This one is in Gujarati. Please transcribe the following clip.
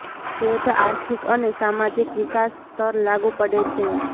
એ જ આર્થિક અને સામાજિક વિકાસ સ્તર લાગુ પડે છે